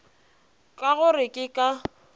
ka go re ke ka